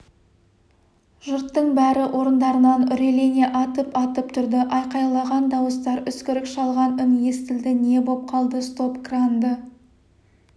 жұрттың бәрі орындарынан үрейлене атып-атып тұрды айқайлаған дауыстар үскірік шалған үн естілді не боп қалды стоп-кранды